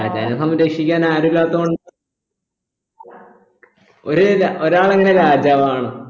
രാജാവിനെ സംരക്ഷിക്കാൻ ആരുല്ലാത്ത കൊണ്ട് ഒര് ര ഒരാളെങ്ങനെയാണ് രാജാവാകണ്